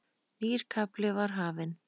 Nýr kafli var hafinn.